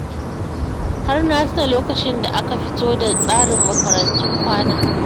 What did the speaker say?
Har na tuna lokacin da aka fito da tsarin makarantun kwana